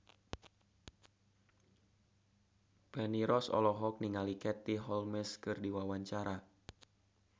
Feni Rose olohok ningali Katie Holmes keur diwawancara